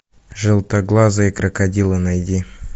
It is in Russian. желтоглазые крокодилы найди